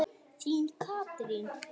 Þín, Katrín.